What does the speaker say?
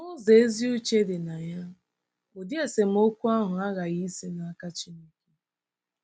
N'ụzọ ezi uche dị na ya, ụdị esemokwu ahụ aghaghị isi n'aka Chineke.